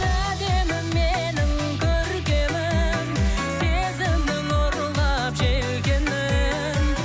әдемім менің көркемім сезімнің ұрлап желкенін